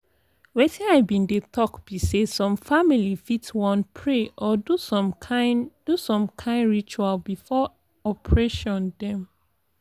wetin i bin dey talk be say som famili fit wan pray or do som kin do som kin ritual before operation dem